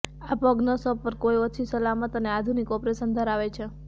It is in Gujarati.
આ પગ નસો પર કોઈ ઓછી સલામત અને આધુનિક ઓપરેશન ધરાવે છે